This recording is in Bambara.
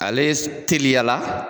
Ale teliyala